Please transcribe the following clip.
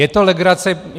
Je to legrace.